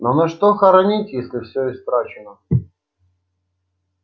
но на что хоронить если все истрачено